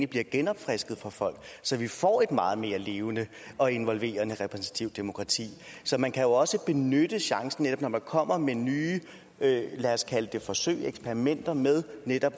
bliver genopfrisket for folk så vi får et meget mere levende og involverende repræsentativt demokrati så man kan også benytte chancen når man kommer med nye lad os kalde det forsøg eksperimenter med